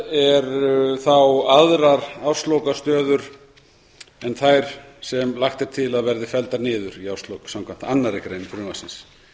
eru þá aðrar árslokastöður en þær sem lagt er til að verði felldar niður í árslok samkvæmt annarri grein frumvarpsins